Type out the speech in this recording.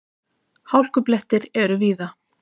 Hálkublettir eru víða